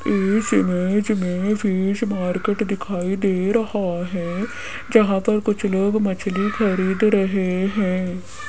इस इमेज में fish market दिखाई दे रहा है जहां पर कुछ लोग मछली खरीद रहे हैं।